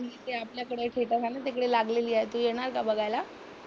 तिथे आपल्याकडे थेटर आहे ना तिकडे लागलेली आहे. तू येणार का बघायला?